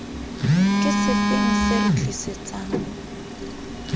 ke sefeng se re tlisetsang